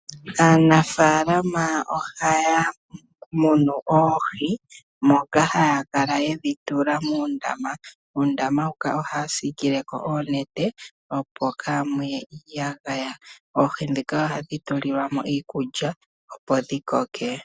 Aanafaalama ohaya munu oohi moka haya kala yedhi tula muundama. Muundama mbuka ohaya siikileko oonete opo kaamuye iiyagaya. Oohi ndhika ohadhi tulilwa iikulya opo dhikoke.